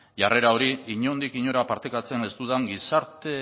jarrera hori inondik inora partekatzen ez dudan gizarte